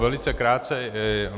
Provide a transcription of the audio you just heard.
Velice krátce.